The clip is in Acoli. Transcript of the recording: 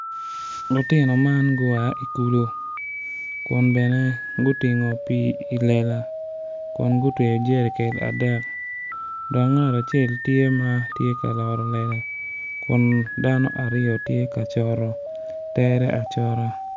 Lutino man gua ki i kulu kun bene gutingo pii i lela kun gutweyo jerican adek dok ngat acel tye ma tye ka loro lela.